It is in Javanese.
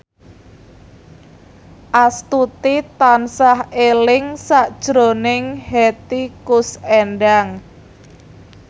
Astuti tansah eling sakjroning Hetty Koes Endang